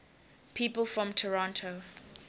people from toronto